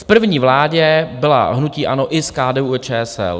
V první vládě bylo hnutí ANO i s KDU-ČSL.